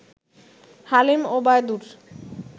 Halim, Obaidur